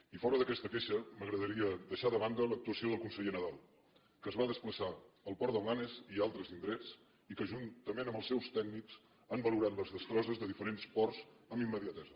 i fora d’aquesta queixa m’agradaria deixar de banda l’actuació del conseller nadal que es va despla·çar al port de blanes i a altres indrets i que juntament amb els seus tècnics han valorat les destrosses de dife·rents ports amb immediatesa